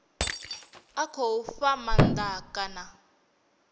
a khou fha maanda kana